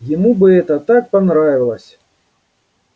ему бы это так понравилось